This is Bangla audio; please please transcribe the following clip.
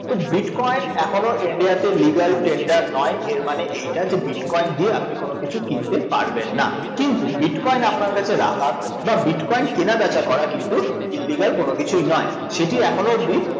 তো bitcoin এখনো ইন্ডিয়াতে legl tender নয়, এর মানে এইটা যে bitcoin দিয়ে আপনি কোনোকিছু কিনতে পারবেন না, কিন্তু bitcoin আপনার কাছে রাখা বা bitcoin কেনাবেচা করা কিন্তু illegal কোনোকিছুই নয়, সেটি এখনও অবধি